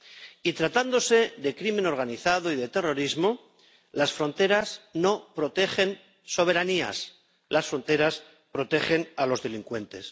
Y tratándose de crimen organizado y de terrorismo, las fronteras no protegen soberanías las fronteras protegen a los delincuentes.